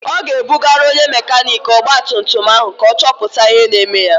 Ọ ga-ebugalụ onye mekaniiki ọgbatumtum ahụ ka ọ chọpụta ihe na-eme ya.